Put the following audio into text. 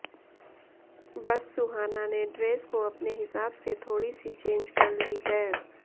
बस सुहाना ने ड्रेस को अपने हिसाब से थोड़ी सी चेंज कर ली है